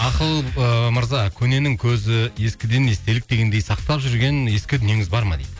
ақыл ы мырза көненің көзі ескіден естелік дегендей сақтап жүрген ескі дүниеңіз бар ма дейді